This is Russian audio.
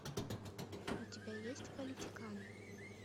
у тебя есть политиканы